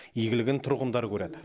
игілігін тұрғындар көреді